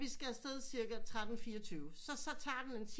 Vi skal afsted cirka 13:24 så så tager den en